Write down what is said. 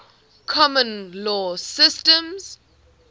common law systems